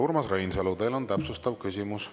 Urmas Reinsalu, teil on täpsustav küsimus.